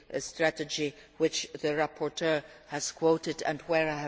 European Disability Strategy to which the rapporteur